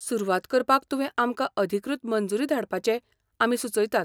सुरवात करपाक तुवें आमकां अधिकृत मंजुरी धाडपाचें आमी सुचयतात.